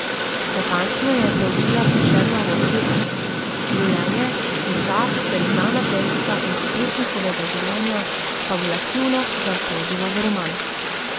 Natančno je proučila Prešernovo osebnost, življenje in čas ter znana dejstva iz pesnikovega življenja fabulativno zaokrožila v roman.